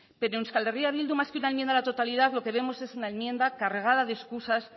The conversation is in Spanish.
pero en euskal herria bildu más que una enmienda a la totalidad lo que vemos es una enmienda cargada de escusas